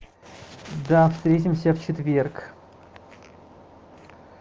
да встретимся в четверг